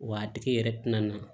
Wa a tigi yɛrɛ tɛna na